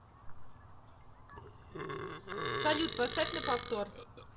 салют поставь на повтор